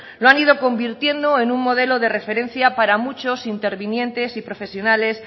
lo han ido convirtiendo en un modelo de referencia para muchos intervinientes y profesionales